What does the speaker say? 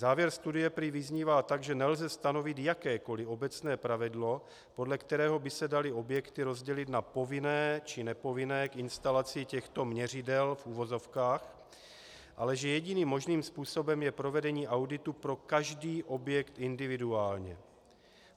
Závěr studie prý vyznívá tak, že nelze stanovit jakékoli obecné pravidlo, podle kterého by se daly objekty rozdělit na povinné či nepovinné k instalaci těchto měřidel, v uvozovkách, ale že jediným možným způsobem je provedení auditu pro každý objekt individuálně.